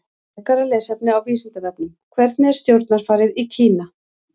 Frekara lesefni á Vísindavefnum: Hvernig er stjórnarfarið í Kína?